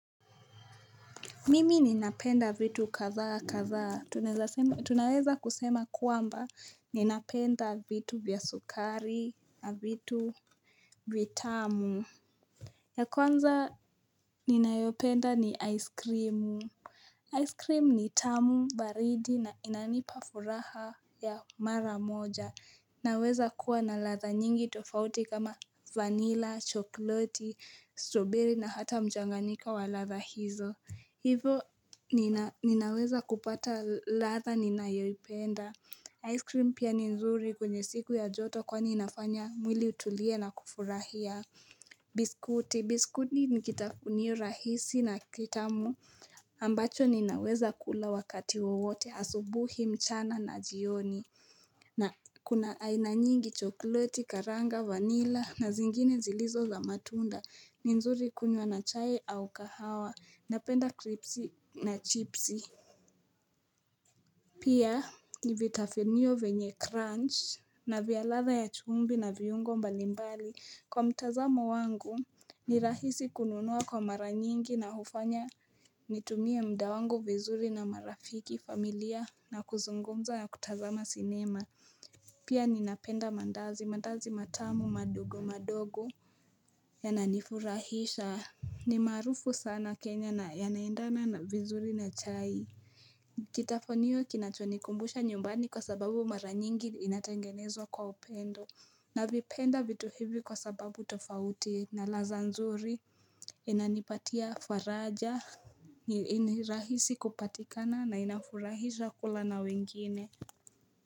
Mimi ninapenda vitu katha katha. Tunaweza kusema kuamba ninapenda vitu vya sukari na vitu vitamu. Ya kwanza ninayopenda ni aiskrimu. Aiskrimu ni tamu baridi na inanipafuraha ya maramoja. Naweza kuwa na latha nyingi tofauti kama vanilla, chokloti, stroberi na hata mjanganyiko wa latha hizo. Hivo ninaweza kupata latha ninayoipenda. Ice cream pia ni nzuri kwenye siku ya joto kwa ni inafanya mwili utulie na kufurahia. Biskuti. Biskuti ni kitafunio rahisi na kitamu ambacho ninaweza kula wakati wowote asubuhi mchana na jioni. Na kuna ainanyingi chokleti, karanga, vanilla na zingine zilizo za matunda. Ni nzuri kunywa na chai au kahawa, napenda kripsi na chipsi. Pia nivitafenio venye crunch na vialadha ya chumvi na viungo mbalimbali. Kwa mtazamo wangu ni rahisi kununua kwa mara nyingi na hufanya nitumie muda wangu vizuri na marafiki familia na kuzungumza ya kutazama sinema. Pia ninapenda mandazi, mandazi matamu madogo madogo ya nanifurahisha. Ni maarufu sana kenyana ya naindana vizuri na chai kitafunio kinachonikumbusha nyumbani kwa sababu mara nyingi inatengenezwa kwa upendo navipenda vitu hizi kwa sababu tofauti na latha nzuri. Inanipatia faraja. Ni rahisi kupatikana na inafurahisha kula na wengine. Kwa hivyo, kwa hivyo.